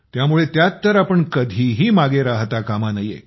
त्यामुळे त्यात तर आपण कधीही मागे राहता कामा नये